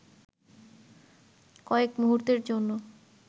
কয়েক মুহুর্তের জন্য